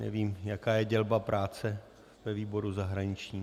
Nevím, jaká je dělba práce ve výboru zahraničním.